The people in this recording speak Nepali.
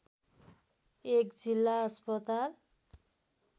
१ जिल्ला अस्पताल